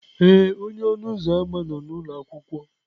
ee, onye ọnụ ụzọ ámá nọ n'ụlọ akwụkwọ.